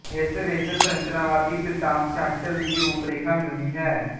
ਇਸ ਵਿੱਚ ਸੰਰਚਨਾਵਾਦੀ ਬਿਰਤਾਂਤਸ਼ਾਸਤਰ ਦੀ ਰੂਪਰੇਖਾ ਮਿਲਦੀ ਹੈ